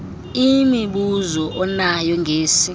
imibuzo anayo ngesi